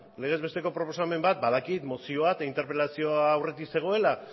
legez besteko proposamen bat badakit mozioa eta interpelazioa aurretik zegoen